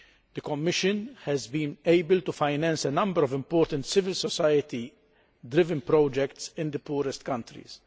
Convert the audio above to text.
The Commission has been able to finance a number of important civil society driven projects in the poorest countries.